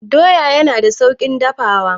Doya yana da sauƙin dafawa.